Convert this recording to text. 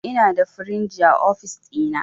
Inada firinji a ofis ɗina